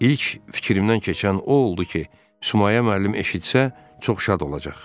İlk fikrimdən keçən o oldu ki, Sumayə müəllim eşitsə, çox şad olacaq.